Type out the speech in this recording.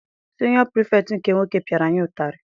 Siniọ Pirifetktị nke nwoke piara anyị ụtarị.